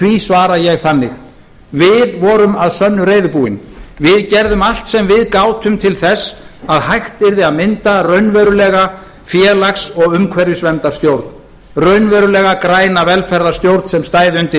því svara ég þannig við vorum að sönnu reiðubúin við gerðum allt sem við gátum til þess að hægt yrði að mynda raunverulega félags og umhverfisverndarstjórn raunverulega græna velferðarstjórn sem stæði undir